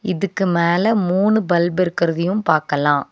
இதுக்கு மேல மூணு பல்பு இருக்கறதையும் பாக்கலா.